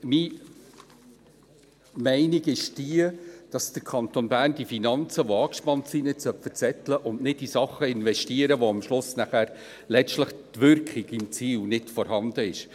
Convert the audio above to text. Deshalb ist meine Meinung die, dass der Kanton Bern die Finanzen, die angespannt sind, nicht verzetteln und nicht in Dinge investieren sollte, wo am Schluss die Wirkung im Ziel nicht vorhanden ist.